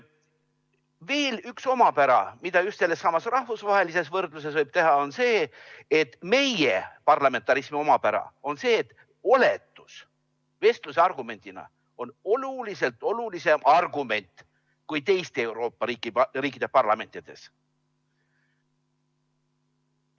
Veel üks omapära, mida just sellessamas rahvusvahelises võrdluses võib esile tuua, on see, et meie parlamentarismi omapära on see, et meil on oletus vestluses argumendina oluliselt olulisem kui teiste Euroopa riikide parlamentides.